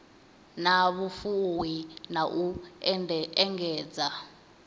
na vhufuwi na u engedza